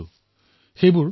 বিশেষভাৱে দেখা পাইছো